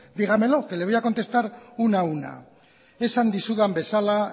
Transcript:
dígamelo que le voy a contestar una a una esan dizudan bezala